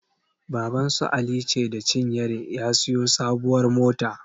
Babansu Alice da cinyere ya siyo sabuwar mota.